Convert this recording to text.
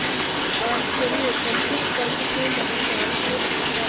आश्चर्यकंपित कंठ से महानाविक ने पूछा